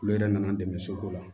Olu yɛrɛ nana n dɛmɛ soko la